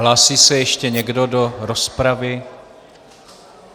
Hlásí se ještě někdo do rozpravy?